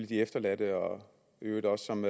de efterladte og i øvrigt også som